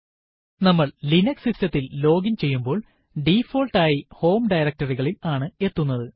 നമ്മൾ ലിനക്സ് സിസ്റ്റത്തിൽ ലോഗിൻ ചെയ്യുമ്പോൾ ഡിഫോൾട്ട് ആയി ഹോം directory ൽ ആണ് എത്തുന്നത്